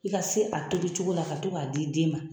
I ka se a tobicogo la ka to k'a di den ma.